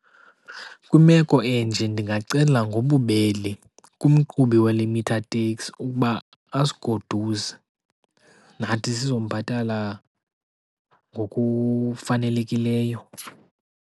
Kwimeko enje ndingacela ngobubele kumqhubi wale meter taxi ukuba asigoduse. Nathi sizombhatala ngokufanelekileyo.